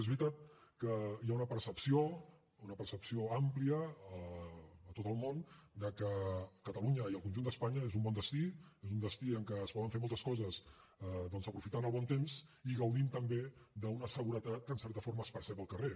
és veritat que hi ha una percepció una percepció àmplia a tot el món que catalunya i el conjunt d’espanya és un bon destí és un destí en què es poden fer moltes coses doncs aprofitant el bon temps i gaudint també d’una seguretat que en certa forma es percep al carrer